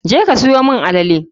je ka siyo mun alele.